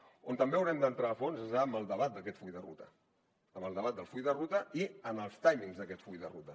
on també haurem d’entrar a fons és en el debat d’aquest full de ruta en el debat del full de ruta i en els timings d’aquest full de ruta